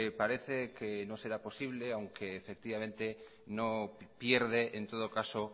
parece que no será posible aunque efectivamente no pierde en todo caso